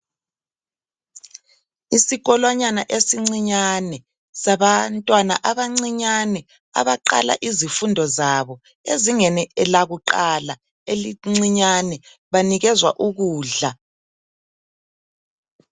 Isikolwanyana esincinyane sabantwana abancinyane, abaqala izifundo zabo ezingeni lakuqala elincinyane. Banikezwa ukudla.